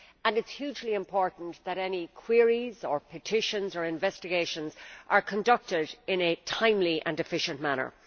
It is hugely important that any queries or petitions or investigations are conducted in a timely and efficient manner.